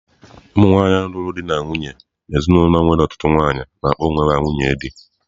Ụmụ nwanyị ndị lụrụ di na nwunye n'ezinụlọ nwere ọtụtụ nwanyị na-akpọ ha onwe ha nwunye dị.